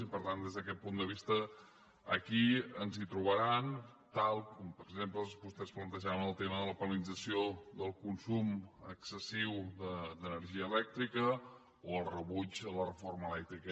i per tant des d’aquest punt de vista aquí ens hi trobaran tal com per exemple vostès plantejaven en el tema de la penalització del consum excessiu d’energia elèctrica o el rebuig a la reforma elèctrica